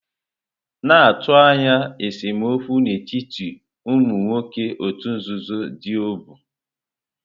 Na-atụ anya esemokwu n'etiti ụmụ nwoke òtù nzuzo Diobu.